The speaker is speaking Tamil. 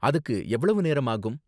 அதுக்கு எவ்வளவு நேரம் ஆகும்?